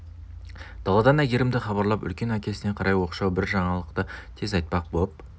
даладан әйгерімді хабарлап үлкен әкесіне қарай оқшау бір жаңалықты тез айтпақ боп